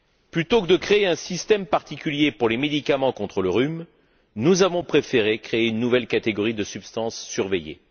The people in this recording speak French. Plutôt que de créer un système particulier pour les médicaments contre le rhume, nous avons préféré créer une nouvelle catégorie de substances surveillées.